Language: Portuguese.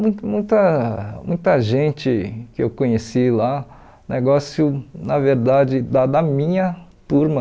Mui muita muita gente que eu conheci lá, negócio, na verdade, da da minha turma,